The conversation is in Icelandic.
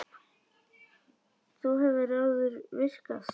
Það hefur áður virkað.